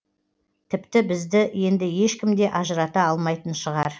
тіпті бізді енді ешкімде ажырата алмайтын шығар